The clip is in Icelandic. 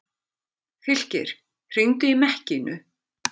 Fylkir, hringdu í Mekkínu.